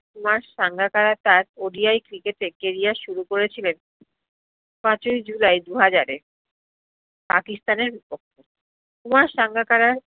কুমার সাঙ্গাকারার তার ODI cricket এ career শুরু করেছিলন পাঁচেই জুলাই দু হাজারে পাকিস্তানের কুমার সাঙ্গাকারার